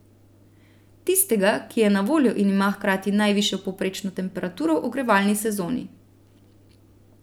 Tistega, ki je na voljo in ima hkrati najvišjo povprečno temperaturo v ogrevalni sezoni.